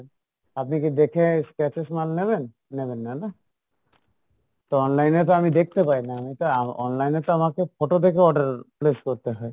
আপনি কী দেখে, scratches মাল নেবেন? নেবেন না, না? তো online এ তো আমি দেখতে পাই না, আমি তো আহ online এ তো আমার photo দেখে order place করতে হয়,